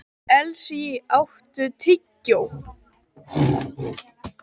Elsý, áttu tyggjó?